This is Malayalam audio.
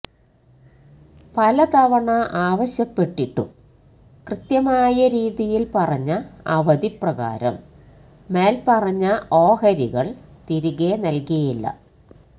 പല തവണ ആവശ്യപ്പെട്ടിട്ടും കൃത്യമായ രീതിയിൽ പറഞ്ഞ അവധി പ്രകാരം മേൽ പറഞ്ഞ ഓഹരികൾ തിരികെ നൽകിയില്ല